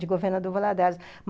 De governador do Valadares.